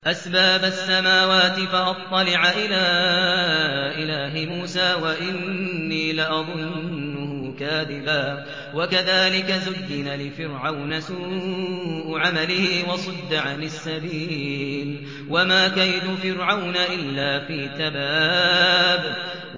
أَسْبَابَ السَّمَاوَاتِ فَأَطَّلِعَ إِلَىٰ إِلَٰهِ مُوسَىٰ وَإِنِّي لَأَظُنُّهُ كَاذِبًا ۚ وَكَذَٰلِكَ زُيِّنَ لِفِرْعَوْنَ سُوءُ عَمَلِهِ وَصُدَّ عَنِ السَّبِيلِ ۚ وَمَا كَيْدُ فِرْعَوْنَ إِلَّا فِي تَبَابٍ